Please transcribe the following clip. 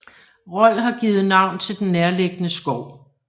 Rold har givet navn til den nærliggende skov